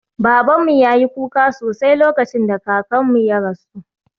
Babanmu ya yi kuka sosai lokacin da kakanmu ya rasu